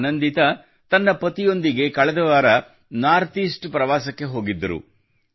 ಆನಂದಿತಾ ತನ್ನ ಪತಿಯೊಂದಿಗೆ ಕಳೆದ ವಾರ ಈಶಾನ್ಯ ರಾಜ್ಯಗಳ ನಾರ್ಥ್ ಈಸ್ಟ್ ಪ್ರವಾಸಕ್ಕೆ ಹೋಗಿದ್ದರು